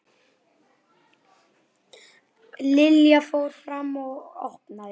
Lilla fór fram og opnaði.